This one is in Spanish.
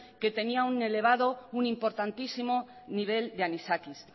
que tenían un importantísimo nivel de anisakis